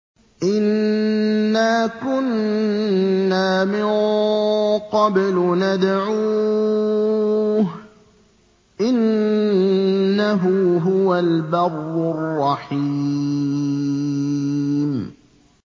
إِنَّا كُنَّا مِن قَبْلُ نَدْعُوهُ ۖ إِنَّهُ هُوَ الْبَرُّ الرَّحِيمُ